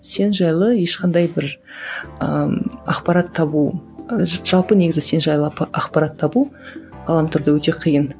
сен жайлы ешқандай бір ыыы ақпарат табу ы жалпы негізі сен жайлы ақпарат табу ғаламторда өте қиын